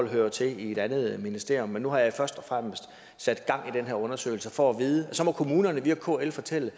hører til i et andet ministerium men nu har jeg først og fremmest sat gang i den her undersøgelse for at vide det og så må kommunerne via kl fortælle